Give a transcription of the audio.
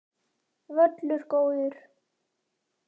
Völlur góður.